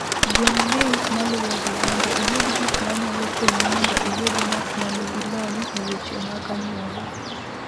Gwel link maluwogi mondo iyud gik ma nyalo konyi mondo iyud ng’at ma nigi lony e weche mag anyuola.